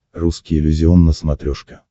русский иллюзион на смотрешке